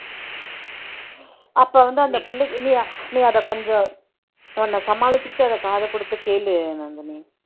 அப்ப வந்து அந்த பிள்ளைக்கு நீ நீ அதை கொஞ்சம் உன்ன சமாளிச்சுக்கிட்டு அதை காது கொடுத்து கேளு நந்தினி